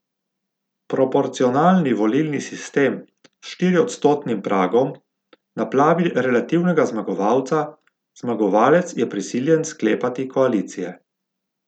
Proporcionalni volilni sistem s štiriodstotnim pragom naplavi relativnega zmagovalca, zmagovalec je prisiljen sklepati koalicije.